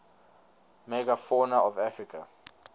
megafauna of africa